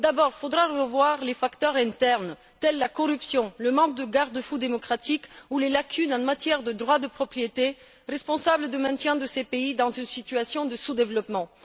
D'abord, il faudra revoir les facteurs internes tels la corruption, le manque de garde fous démocratiques ou les lacunes en matière de droits de propriété, responsables du maintien de ces pays dans une situation de sous développement.